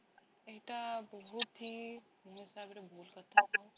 ଏଟା ବହୁତ ହି ମୋ ହିସାବ ରେ ଭୁଲ କଥା